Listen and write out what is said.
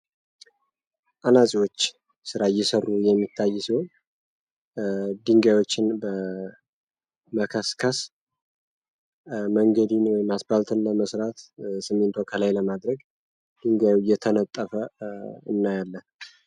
አናፂዎችና ስራ እየሰሩ የሚታይ ሲሆን ድንጋዮችን በመከስከስ መንገዶችን ወይም አስፓልት ለመስራት ስሚንቶ ላለይ ለማድረግ ድንጋዩ እየተነጠፈ እናያለን።